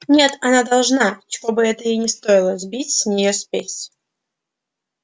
нет она должна чего бы это ни стоило сбить с него спесь